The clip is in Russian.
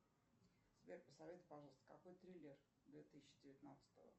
сбер посоветуй пожалуйста какой триллер две тысячи девятнадцатого